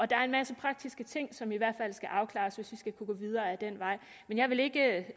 der er en masse praktiske ting som i hvert fald skal afklares hvis vi skal kunne gå videre ad den vej men jeg vil ikke